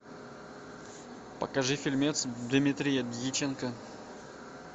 покажи фильмец дмитрия дьяченко